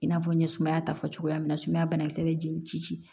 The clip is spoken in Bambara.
I n'a fɔ n ye sumaya ta fɔ cogoya min na sumaya banakisɛ bɛ jeli ci